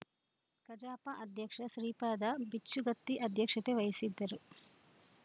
ಕಜಾಪ ಅಧ್ಯಕ್ಷ ಶ್ರೀಪಾದ ಬಿಚ್ಚುಗತ್ತಿ ಅಧ್ಯಕ್ಷತೆ ವಹಿಸಿದ್ದರು